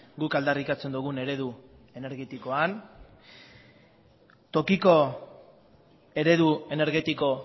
guk aldarrikatzen dugun eredu energetikoan tokiko eredu energetiko